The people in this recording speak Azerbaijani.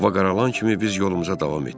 Hava qaralan kimi biz yolumuza davam etdik.